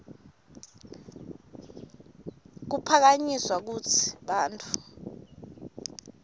kuphakanyiswa kutsi bantfu